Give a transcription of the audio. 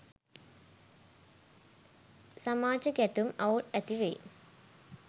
සමාජ ගැටුම් අවුල් ඇති වෙයි